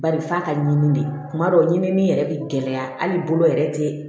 Bari f'a ka ɲinini de ye kuma dɔw ɲini min yɛrɛ bɛ gɛlɛya hali bolo yɛrɛ tɛ